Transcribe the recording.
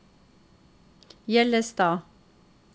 Hjellestad